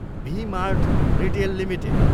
V Mart Retail limited